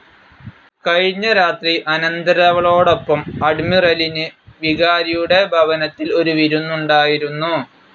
കഴിഞ്ഞ രാത്രി അനന്തരവളോടൊപ്പം അഡ്മിറലിന് വികാരിയുടെ ഭവനത്തിൽ ഒരു വിരുന്നുണ്ടായിരുന്നു.